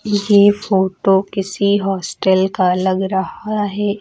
ये फोटो किसी हॉस्टल का लगा रहा है।